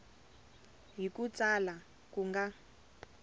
hi ku tsala ku nga